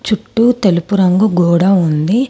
చుట్టూ తెలుపు రంగు గోడ ఉంది.